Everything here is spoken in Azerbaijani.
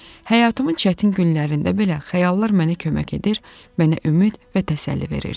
Həyatımın çətin günlərində belə xəyallar mənə kömək edir, mənə ümid və təsəlli verirdi.